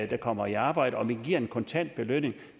der kommer i arbejde og vi giver en kontant belønning